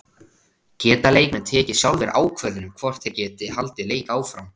Geta leikmenn tekið sjálfir ákvörðun um hvort þeir geti haldið leik áfram?